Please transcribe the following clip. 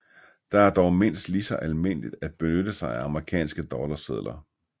Det er dog mindst lige så almindeligt at benytte sig af amerikanske dollarsedler